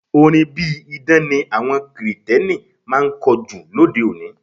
Orin bí idán ni àwọn Kirìtẹ́nì máa ń kọ jù lóde-òní.